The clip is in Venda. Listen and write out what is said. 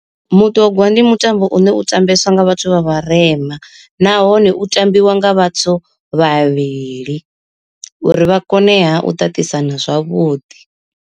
Mutogwa ndi mutambo une u tambeswa nga vhathu vha vharema nahone u tambiwa nga vhathu vhavhili, uri vha kone ha u ṱaṱisana zwavhuḓi.